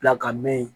Bila ka mɛn yen